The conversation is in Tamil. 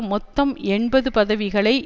மொத்தம் எண்பது பதவிகளை